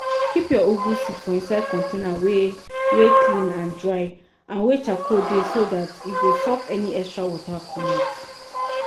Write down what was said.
keep your ugu seed for inside container wey wey clean and dry and wey charcoal dey so that e go suck any extra water comot.